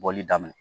Bɔli daminɛ